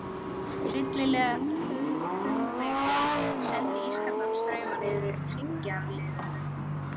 Hryllileg hugvekja sem sendi ískalda strauma niðreftir hryggjarliðunum.